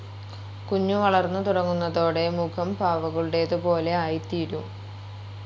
കുഞ്ഞു വളർന്നു തുടങ്ങുന്നതോടെ മുഖം പാവകളുടേതുപോലെ ആയിത്തീരും.